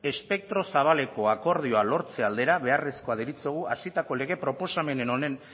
espektro zabaleko akordioa lortze aldera beharrezkoa deritzogu hasitako lege proposamenen honen